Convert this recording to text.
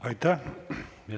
Aitäh!